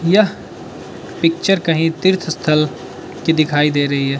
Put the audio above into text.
यह पिक्चर कहीं तीर्थ स्थल की दिखाई दे रही है।